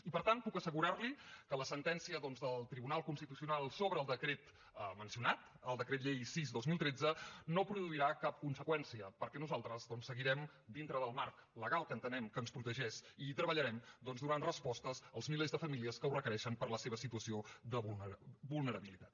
i per tant puc assegurarli que la sentència doncs del tribunal constitucional sobre el decret mencionat el decret llei sis dos mil tretze no produirà cap conseqüència perquè nosaltres doncs seguirem dintre del marc legal que entenem que ens protegeix i hi treballarem donant respostes als milers de famílies que ho requereixen per la seva situació de vulnerabilitat